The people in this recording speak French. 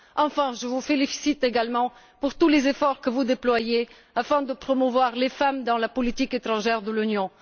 Enfin, je vous félicite également pour tous les efforts que vous déployez afin de promouvoir les femmes dans la politique étrangère de l'Union.